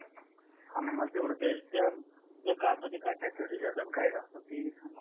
आम्हाला तेवढ ते काय असत ते काय फॅसिलिटी देसाल